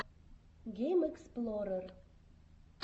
геймэксплорер